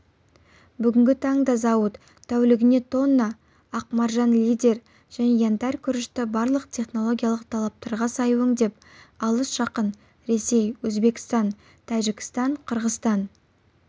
бүгінгі таңда зауыт тәулігіне тонна ақмаржан лидер және янтарь күрішті барлық технологиялық талаптарға сай өңдеп алыс жақын ресей өзбекстан тажікстан қырғызстан